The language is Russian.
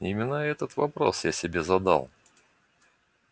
именно этот вопрос я себе задал